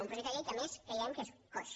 un pro·jecte de llei que a més creiem que és coix